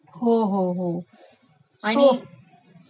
हो हो ....हो